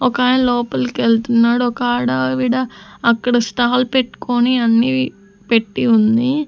ఒకకాయన లోపలికెళ్తున్నాడు ఒక ఆడావిడ అక్కడ స్టాల్ పెట్కోని అన్నీ పెట్టి ఉంది.